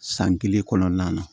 San kelen kɔnɔna na